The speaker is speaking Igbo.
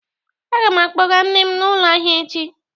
Aga m akpọga nne m n'ụlọ ahịa echi.